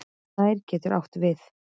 Snær getur átt við